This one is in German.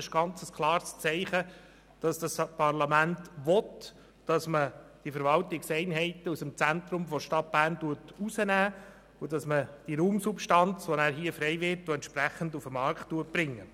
Dies ist ein ganz klares Zeichen dafür, dass das Parlament will, dass man diese Verwaltungseinheiten aus dem Zentrum der Stadt Bern herausnimmt und die frei werdende Raumsubstanz auf den Markt bringt.